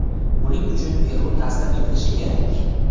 Buning uchun Peru taslim etilishi kerak.